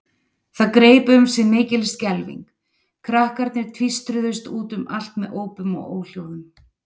Það greip um sig mikil skelfing, krakkarnir tvístruðust út um allt með ópum og óhljóðum.